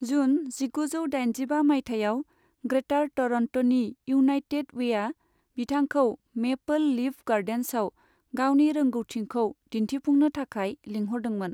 जुन जिगुजौ दाइनजिबा मायथाइयाव, ग्रेटार टरन्ट'नि इउनाइटेड वेआ बिथांखौ मेपोल लीफ गार्डेन्सआव गावनि रोंगौथिखौ दिन्थिफुंनो थाखाय लिंहरदोंमोन।